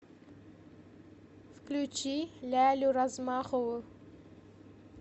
включи лялю размахову